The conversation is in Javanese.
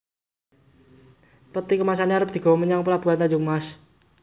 Peti kemase arep digowo menyang pelabuhan Tanjung Mas